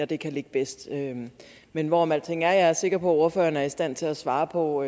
det kan ligge bedst men hvorom alting er er jeg sikker på at ordføreren er i stand til at svare på